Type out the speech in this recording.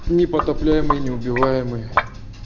непотопляемый неубиваемый